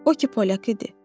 O ki polyak idi.